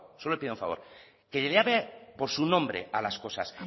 solo le pido un favor que le llame por su nombre a las cosas